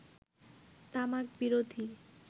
তামাক বিরোধী